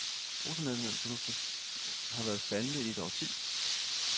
Bruttonationalproduktet har været faldende i et årti.